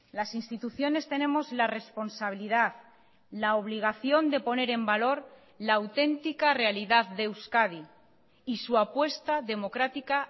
las instituciones tenemos la responsabilidad la obligación de poner en valor la auténtica realidad de euskadi y su apuesta democrática